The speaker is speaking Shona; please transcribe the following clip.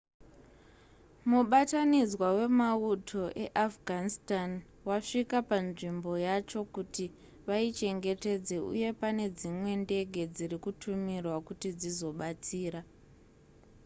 mubatanidzwa wemauto eafghanistan wasvika panzvimbo yacho kuti vaichengetedze uye pane dzimwe ndege dziri kutumirwa kuti dzizobatsira